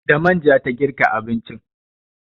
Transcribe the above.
Da manja ta girka abincin.